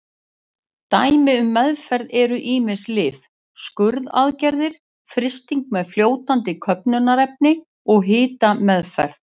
Dæmi um meðferðir eru ýmis lyf, skurðaðgerðir, frysting með fljótandi köfnunarefni og hitameðferð.